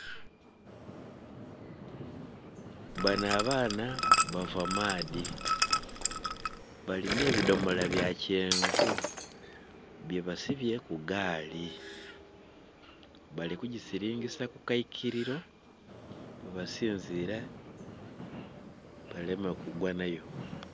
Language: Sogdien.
Banho abaana bava maadhi balinha ebidhomola bya kyenvu bye basibye ku gaali bali kusilingisa ku kaikiliro bwe basinziila baleme kugwa nha yo.